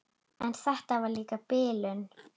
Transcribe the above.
En þetta var líka bilun.